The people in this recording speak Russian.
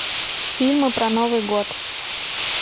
фильмы про новый год